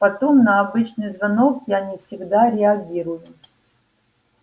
потом на обычный звонок я не всегда реагирую